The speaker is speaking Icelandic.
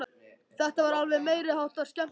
Þetta var alveg meiri háttar skemmtilegt!